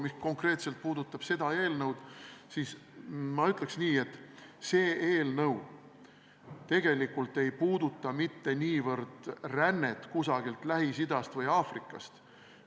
Mis konkreetselt puudutab seda eelnõu, siis ma ütleks nii, et see eelnõu tegelikult ei puuduta mitte niivõrd rännet kusagilt Lähis-Idast või Aafrikast.